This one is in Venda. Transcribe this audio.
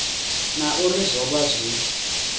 na uri zwo vha zwi